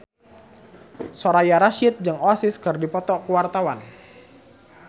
Soraya Rasyid jeung Oasis keur dipoto ku wartawan